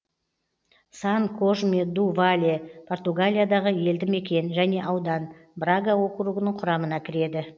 сан кожме ду вале португалиядағы елді мекен және аудан брага округінің құрамына кіреді